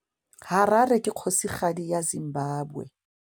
Harare ke kgosigadi ya Zimbabwe.